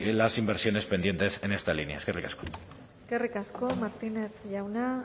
las inversiones pendientes en esta línea eskerrik asko eskerrik asko martínez jauna